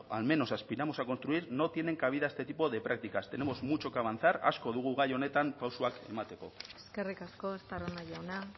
al menos aspiramos a construir no tienen cabida este tipo de prácticas tenemos mucho que avanzar asko dugu gai honetan pausuak emateko eskerrik asko estarrona jauna